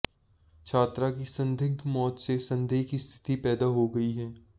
छात्रा की संदिग्ध मौत से संदेह की स्थिति पैदा हो गई है